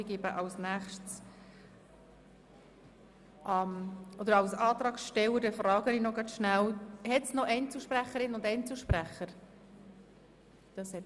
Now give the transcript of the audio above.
Es wünschen offenbar keine weiteren Einzelsprecherinnen und -sprecher das Wort.